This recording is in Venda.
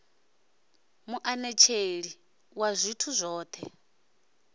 muanetsheli a ḓivha zwithu zwoṱhe